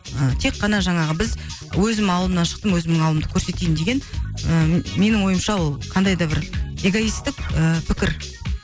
ыыы тек қана жаңағы біз өзім ауылымнан шықтым өзімнің ауылымды көрсетейін деген ііі менің ойымша ол қандай да бір эгоистік ііі пікір